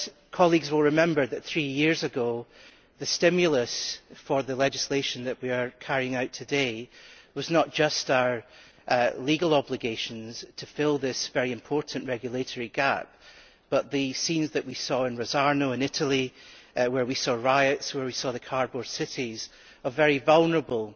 Colleagues will remember, however, that three years ago the stimulus for the legislation that we are carrying out today was not just our legal obligations to fill this very important regulatory gap, but the scenes that we saw in Rosarno in Italy where we saw riots, and where we saw cardboard cities of very vulnerable